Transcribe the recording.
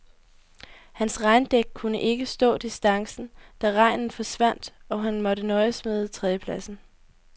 Hans regndæk kunne ikke stå distancen, da regnen forsvandt, og han måtte nøjes med tredjepladsen.